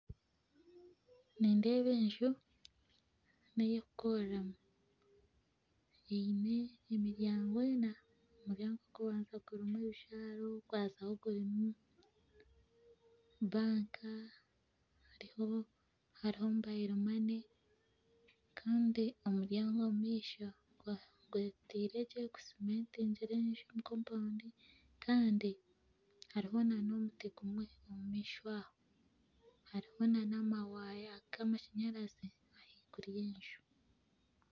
Nindeeba enju ney'okukoreramu eine emiryango ena, omuryango ogw'okubanza guri ebijwaro, ogwazaaho gwine banka hariho mobile money kandi omuryango omumaisho gwetaire gye gusimentigire enju omu compoundi kandi hariho na n'omuti gumwe omumaisho aho, hariho na n'amawaaya ga amashanyarazi ahaiguru y'enju.